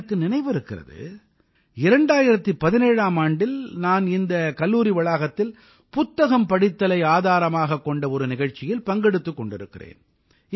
எனக்கு நினைவிருக்கிறது 2017ஆம் ஆண்டில் நான் இந்தக் கல்லூரி வளாகத்தில் புத்தகம் படித்தலை ஆதாரமாகக் கொண்ட ஒரு நிகழ்ச்சியில் பங்கெடுத்துக் கொண்டிருக்கிறேன்